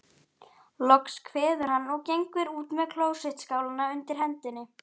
Loks kveður hann, og gengur út með klósettskálina undir hendinni.